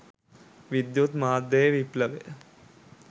විද්‍යුත් මාධ්‍යයේ විප්ලවය